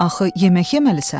Axı yemək yeməlisən?